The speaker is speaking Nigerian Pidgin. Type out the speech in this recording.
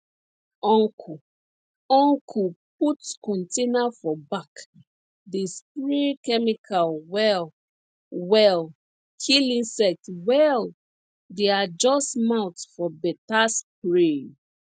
uncle uncle put container for back dey spray chemical well well kill insect well dey adjust mouth for better spray